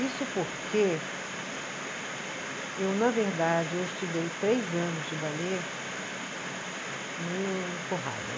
Isso porque eu, na verdade, eu estudei três anos de ballet meio empurrada, né?